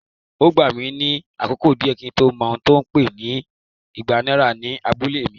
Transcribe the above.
Ó gbà mí ní àkókò díẹ̀ kí n tó mọ̀ ohun tí wón ń pè igba náírà ní abúlé mi.